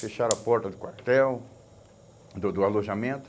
Fecharam a porta do quartel, do do alojamento.